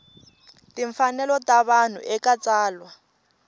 timfanelo ta vanhu eka tsalwa